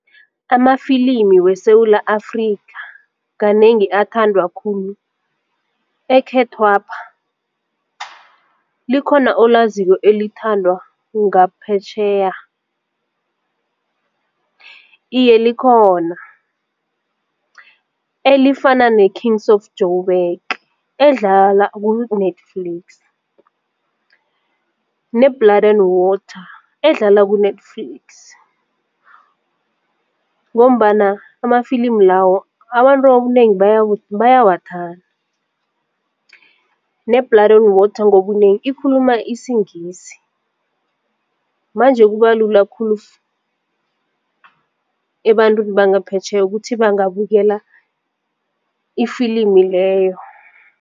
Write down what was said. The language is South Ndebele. Amafilimi weSewula Afrika kanengi athandwa khulu ekhethwapha, likhona olaziko elithandwa ngaphetjheya? Iye, likhona elifana ne-Kings of Joburg edlala ku-Netflix, ne-Blood and Water edlala ku-Netflix ngombana amafilimi lawo abantu obunengi bayawathanda ne-Blood and Water ngobunengi ikhuluma isingisi manje kubalula khulu ebantwini bangaphetjheya ukuthi bangabukela ifilimu leyo.